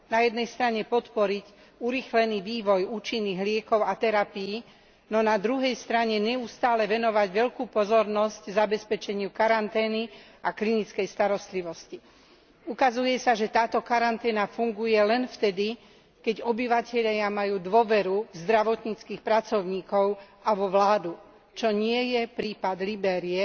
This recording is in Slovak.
Na jednej strane podporiť urýchlený vývoj účinných liekov a terapií, no na druhej strane neustále venovať veľkú pozornosť zabezpečeniu karantény a klinickej starostlivosti. Ukazuje sa, že táto karanténa funguje len vtedy, keď obyvatelia majú dôveru v zdravotníckych pracovníkov a vo vládu, čo nie je prípad Libérie,